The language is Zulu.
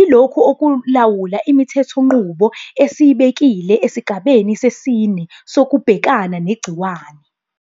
Ilokhu okulawula imithethonqubo esiyibekile esigabeni sesine sokubhekana negciwane.